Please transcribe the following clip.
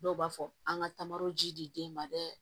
Dɔw b'a fɔ an ka taamaw ji den ma dɛ